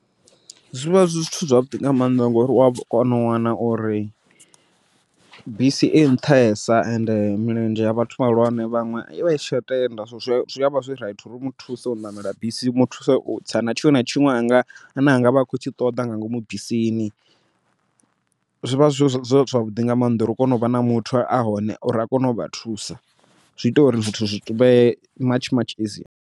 Zwivha zwi zwithu zwavhuḓi nga maanḓa ngori u a kona u wana uri, bisi i nṱhesa ende milenzhe ya vhathu vhahulwane vhaṅwe i vha isi tsha tenda, so zwi avha zwi raithi uri u muthuse u ṋamela bisi u muthuse u tsa na tshiṅwe na tshiṅwe ane a anga vha a khou tshi ṱoḓa nga ngomu bisini. Zwi vha zwi zwavhuḓi nga maanḓa uri u kone u vha na muthu a hone, uri a kone u vha thusa zwi ita uri zwithu zwi vhe matshi matshi easier.